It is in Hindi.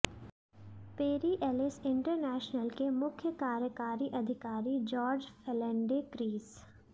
पेरी एलिस इंटरनेशनल के मुख्य कार्यकारी अधिकारी जॉर्ज फेल्डेंक्रीस